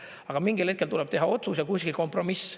Aga mingil hetkel tuleb teha otsus ja kuskil kompromiss.